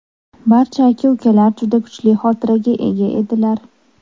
Barcha aka-ukalar juda kuchli xotiraga ega edilar.